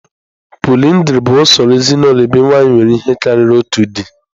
Pọlyndrị bụ usoro ezinụlọ ebe nwanyị nwere ihe karịrị otu di.